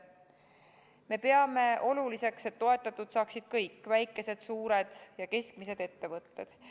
Me peame oluliseks, et toetatud saaksid kõik: väikesed, suured ja keskmised ettevõtted.